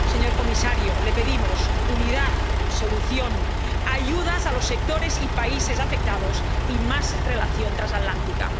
Señor comisario, le pedimos unidad, solución, ayudas a los sectores y países afectados y más relación transatlántica.